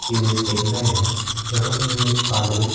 image देख रहे हैं जहां पे हम एक पादरी--